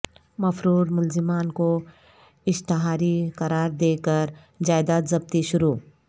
مفرور ملزمان کو اشتہاری قراردے کر جائداد ضبطی شروع